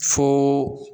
Fo